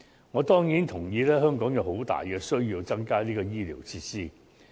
我當然同意，香港有很大的需要增加醫療設施。